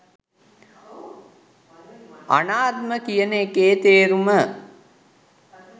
අනාත්ම කියන එකේ තේරුම